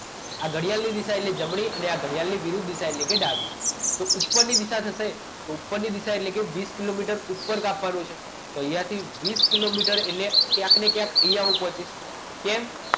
આ ઘડિયાળની દિશા એટલે જમણી અને આ ઘડિયાની વિરુદ્ધ દિશા એટલે ડાબી તો ઉપરની દિશા થશે તો ઉપરની દિશા એટલે વીસ કિલોમીટર ઉપર કાપવાનું છે તો અહીંયા થી વીસ કિલોમીટર એટલે ક્યાંક ને ક્યાંક અહીંયા ઉપસ્થિત કેમ